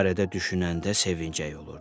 Bu barədə düşünəndə sevincli olurdu.